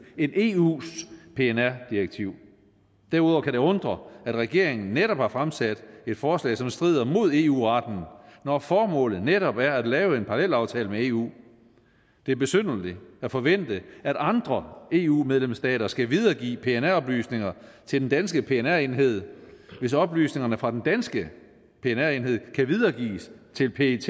end eus pnr direktiv derudover kan det undre at regeringen netop har fremsat et forslag som strider mod eu retten når formålet netop er at lave en parallelaftale med eu det er besynderligt at forvente at andre eu medlemsstater skal videregive pnr oplysninger til den danske pnr enhed hvis oplysningerne fra den danske pnr enhed kan videregives til pet